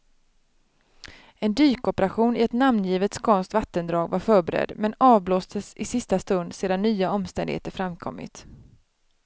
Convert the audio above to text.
En dykoperation i ett namngivet skånskt vattendrag var förberedd, men avblåstes i sista stund sedan nya omständigheter framkommit.